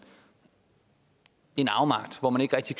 en afmagt hvor man ikke rigtig